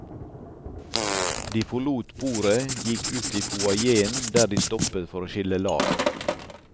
De forlot bordet, gikk ut i foajeen der de stoppet for å skille lag.